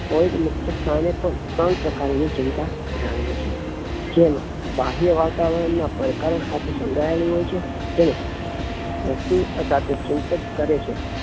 Freud મુક્ત સ્થાને પણ ત્રણ પ્રકાર ની ચિંતા ધરાવેલી છે જેમાં બાહ્યવાતાવરણ નાં પડકારો સાથે સંકળાયેલી હોઈ છે તેને વસ્તુ અથવા તો તે ચિંતા કરે છે